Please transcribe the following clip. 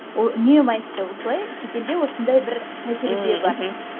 ол үнемі айтты осылай шетелде осындай бір тәжірибе бар